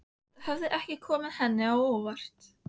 Það hafði ekki komið henni á óvart.